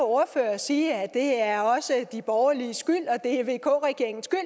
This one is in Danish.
ordfører sige at det er også de borgerliges skyld og det er vk regeringens skyld